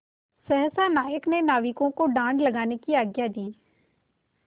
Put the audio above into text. सहसा नायक ने नाविकों को डाँड लगाने की आज्ञा दी